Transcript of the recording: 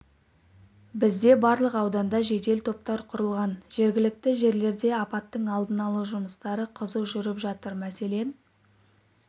бізде барлық ауданда жедел топтар құрылған жергілікті жерлерде апаттың алдын алу жұмыстары қызу жүріп жатыр мәселен